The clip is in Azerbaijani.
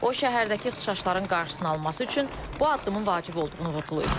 O şəhərdəki ixşşların qarşısının alınması üçün bu addımın vacib olduğunu vurğulayıb.